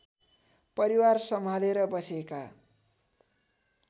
परिवार सम्हालेर बसेका